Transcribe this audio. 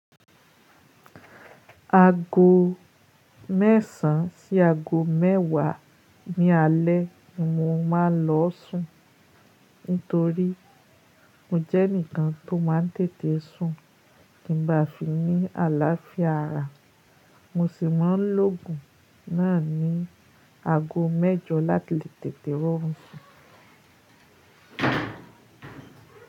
Aago mẹ́sàn sí aago mẹ́wàá ní alé ni mo máa ń lọ sùn, nítorí mo jẹ́ ẹnìkan tó máa ń tètè sùn kí n ba à fi ní àláfíà ara. Mo sì máa ń lògun náà ní aago mẹ́jọ láti tètè rọrùn sùn.